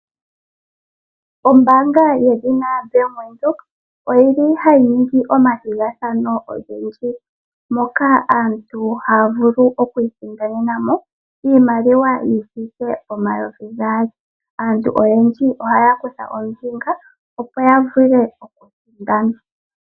Ombaanga yedhina ombaanga yaWindhoek oyili hayi ningi omathigathano ogendji, moka aantu haya vulu okwiisindanenamo iimaliwa yithiike 2000. Aantu oyendji ohaya kutha ombinga opo ya vule okusindana.